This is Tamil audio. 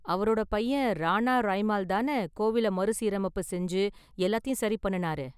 அவரோட பையன், ராணா ரைமால் தானே கோவில மறுசீரமைப்பு செஞ்சு எல்லாத்தையும் சரி பண்ணுனாரு?